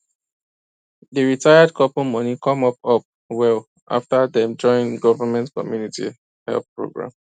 di retired couple money come up up well after dem join government community help program